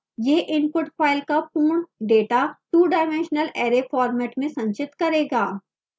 यह input file का पूर्ण data two dimensional array format में संचित करेगा